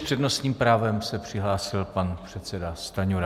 S přednostním právem se přihlásil pan předseda Stanjura.